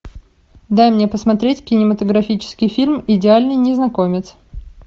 дай мне посмотреть кинематографический фильм идеальный незнакомец